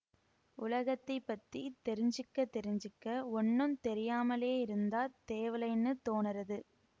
உலகத்தை பத்தித் தெரிஞ்சுக்கத் தெரிஞ்சுக்க ஒண்ணும் தெரியாமலேயிருந்தாத் தேவலைன்னு தோணறது